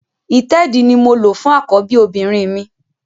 Ìtẹ́ẹ̀dí ni mo lò fún àkọ́bí obìnrin mi